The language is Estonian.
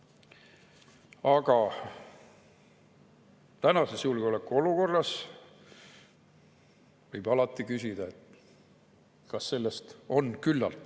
Aga tänases julgeolekuolukorras võib alati küsida, kas sellest on küllalt.